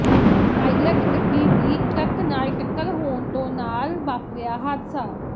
pilot ਗੱਡੀ ਦੀ truck ਨਾਲ ਟੱਕਰ ਹੋਣ ਤੋਂ ਨਾਲ ਵਾਪਰਿਆ ਹਾਦਸਾ